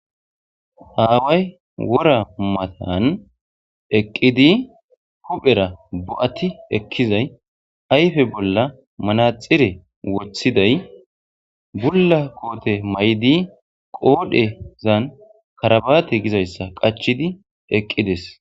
Ha away wora matan eqidi huphera bo'ati ekizay ayde bola menaxire wothiday Bula kote mayidi qodhizan karabate gizaysa qachides